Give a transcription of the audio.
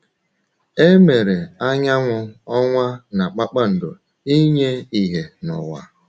E mere anyanwụ, ọnwa, na kpakpando ‘ inye ìhè n’ụwa. ’